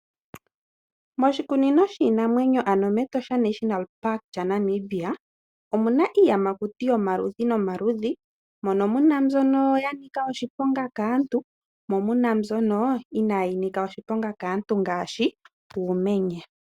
Moshikunino shiinamwenyo ano mEtosha National Park lyaNamibia omu na iiyamakuti yomaludhi nomaludhi, mono mu na mbyono ya nika oshiponga kaantu, mo mu na mbyono inaayi nika oshiponga kaantu ngaashi uumenye.